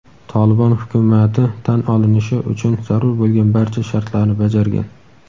"Tolibon" hukumati tan olinishi uchun zarur bo‘lgan barcha shartlarni bajargan.